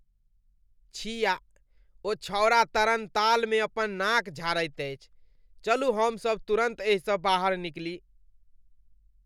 छिया! ओ छौंड़ा तरणतालमे अपन नाक झाड़ैत अछि। चलू हम सभ तुरन्त एहिसँ बाहर निकली।